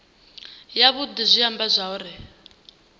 yavhudi zwi amba zwauri hu